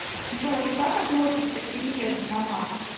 джой как относишься к переезду на марс